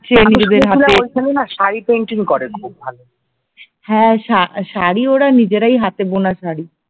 হ্যা শা শাড়ি ওরা নিজেরাই হাতে বোনা শাড়ি